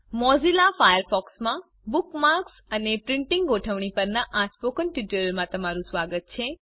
Mozilla Firefox માં bookmarks અને printing ગોઠવણી પરના આ સ્પોકન ટ્યુટોરિયલ મા તમારું સ્વાગત છે